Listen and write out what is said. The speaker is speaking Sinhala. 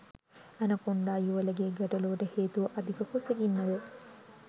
ඇනකොන්ඩා යුවළගේ ගැටලූවට හේතුව අධික කුසගින්නද?